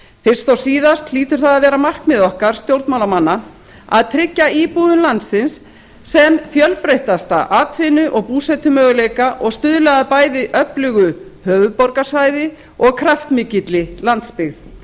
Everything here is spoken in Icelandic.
fyrst og síðast hlýtur það að vera markmið okkar stjórnmálamanna að tryggja íbúum landsins sem fjölbreyttasta atvinnu og búsetumöguleika og stuðla að bæði öflugu höfuðborgarsvæði og kraftmikilli landsbyggð